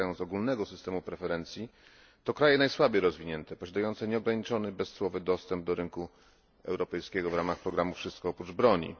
korzystają z ogólnego systemu preferencji to kraje najsłabiej rozwinięte, posiadające nieograniczony bezcłowy dostęp do rynku europejskiego w ramach programu Wszystko oprócz broni.